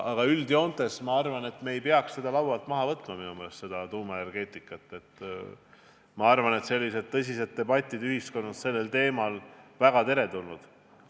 Aga üldjoontes ma arvan, et me ei peaks tuumaenergeetikat laualt maha võtma, minu meelest on tõsised debatid ühiskonnas sellel teemal väga teretulnud.